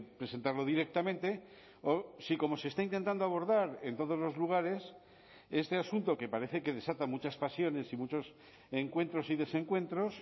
presentarlo directamente o si como se está intentando abordar en todos los lugares este asunto que parece que desata muchas pasiones y muchos encuentros y desencuentros